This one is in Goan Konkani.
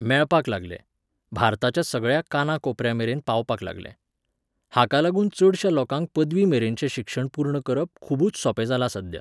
मेळपाक लागलें, भारताच्या सगळ्या कानाकोपऱ्यामेरेन पावपाक लागलें. हाका लागून चडश्या लोकांक पदवी मेरेनचें शिक्षण पूर्ण करप खुबूच सोपें जालां सध्या.